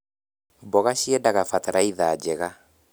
Mboga ciendaga batataitha njega